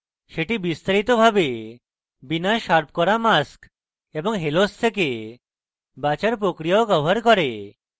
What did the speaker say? সেটি বিস্তারিতভাবে বিনা শার্প করা mask এবং halos থেকে বাচার প্রক্রিয়াও কভার করে